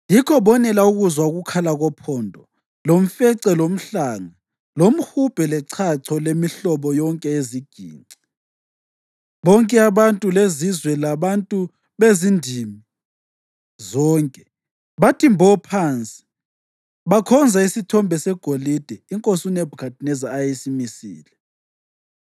Yikho, bonela ukuzwa ukukhala kophondo, lomfece, lomhlanga, lomhubhe, lechacho lemihlobo yonke yeziginci, bonke abantu, lezizwe labantu bezindimi zonke bathi mbo phansi bakhonza isithombe segolide inkosi uNebhukhadineza eyayisimisile.